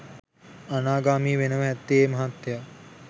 අනාගාමි වෙනවා ඇත්තේ ඒ මහත්තය.